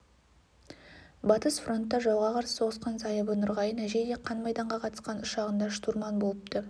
батыс фронтта жауға қарсы соғысқан зайыбы нұрғайын әжей де қан майданға қатысқан ұшағында штурман болыпты